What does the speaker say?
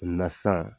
sisan